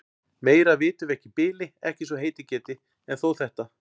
Meira vitum við ekki í bili, ekki svo heitið geti. en þó þetta.